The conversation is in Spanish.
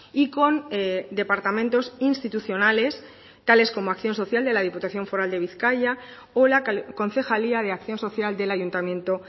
y con departamentos institucionales tales como acción social de la diputación foral de bizkaia o la concejalía de acción social del ayuntamiento